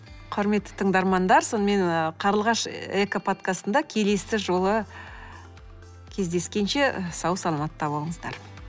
құрметті тыңдармандар сонымен ы қарлығаш экоподкастында келесі жолы кездескенше сау саламатта болыңыздар